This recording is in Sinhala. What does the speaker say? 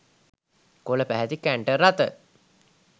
කොළපැහැති කැන්ටර් රථ